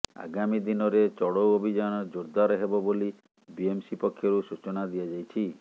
ଆଗାମୀ ଦିନରେ ଚଢ଼ଉ ଅଭିଯାନ ଜୋର୍ଦାର ହେବ ବୋଲି ବିଏମ୍ସି ପକ୍ଷରୁ ସୂଚନା ଦିଆଯାଇଛି